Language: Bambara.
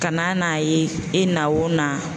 Ka na n'a ye e na o na